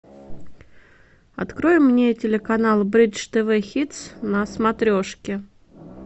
открой мне телеканал бридж тв хитс на смотрешке